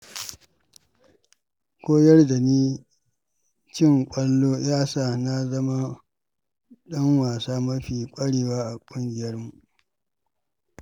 Koyar da ni cin ƙwallo ya sa na zama ɗan wasa mafi ƙwarewa a ƙungiyarmu.